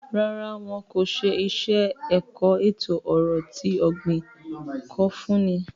Rárá, wọn ko ṣe iṣẹ-ẹkọ eto-ọrọ ti ogbin ko funni